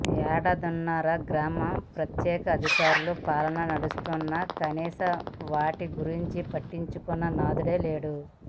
ఏడాదిన్నరగా గ్రామ ప్రత్యేక అధికారుల పాలన నడుస్తున్నా కనీసం వాటి గురించి పట్టించుకున్న నాథుడే లేడు